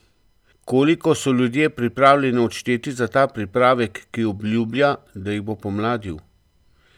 Koliko so ljudje pripravljeni odšteti za pripravek, ki obljublja, da jih bo pomladil?